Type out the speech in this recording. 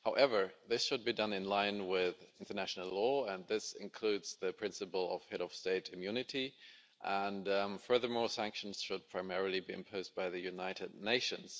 However, this should be done in line with international law, and this includes the principle of Head of State immunity, and furthermore, sanctions should primarily be imposed by the United Nations.